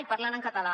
i parlant en català